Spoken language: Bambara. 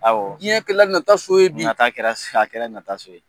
Awɔ. Diɲɛ kɛla nataso ye bi. Nata kɛra, a kɛra nataso ye.